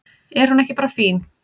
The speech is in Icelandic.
Er hún ekki bara fín?